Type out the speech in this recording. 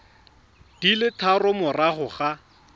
di le tharo morago ga